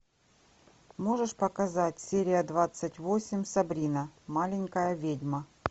можешь показать серия двадцать восемь сабрина маленькая ведьма